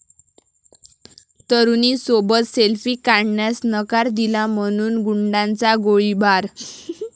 तरुणीसोबत selfie काढण्यास नकार दिला म्हणून गुंडाचा गोळीबार